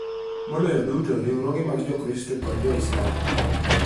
Maloyo duto, riwruoge mag Jokristo kod Jo-Muslim.